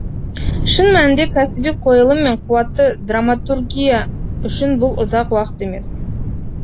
шын мәнінде кәсіби қойылым мен қуатты драматургия үшін бұл ұзақ уақыт емес